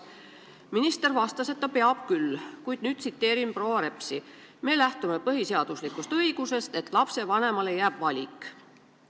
Minister vastas, et ta peab küll, kuid me lähtume põhiseaduslikust õigusest, et lapsevanemale jääb valik.